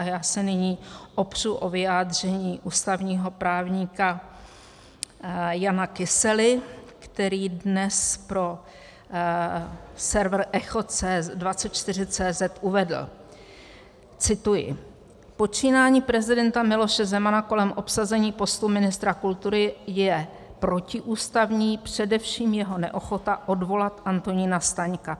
A já se nyní opřu o vyjádření ústavního právníka Jana Kysely, který dnes pro server Echo24.cz uvedl - cituji: "Počínání prezidenta Miloše Zemana kolem obsazení postu ministra kultury je protiústavní, především jeho neochota odvolat Antonína Staňka.